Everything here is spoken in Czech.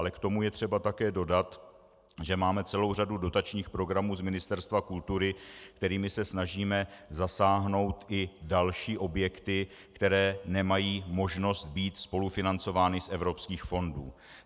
Ale k tomu je třeba také dodat, že máme celou řadu dotačních programů z Ministerstva kultury, kterými se snažíme zasáhnout i další objekty, které nemají možnost být spolufinancovány z evropských fondů.